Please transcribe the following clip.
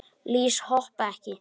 Lýs hoppa ekki.